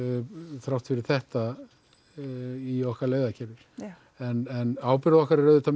þrátt fyrir þetta í okkar leiðakerfi en ábyrgð okkar er auðvitað